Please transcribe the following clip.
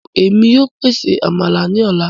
Èmi yóò pèsè Àmàlà ní ọla